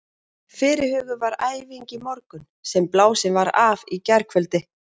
Fyrirhuguð var æfing í morgun sem blásin var af í gærkvöldi.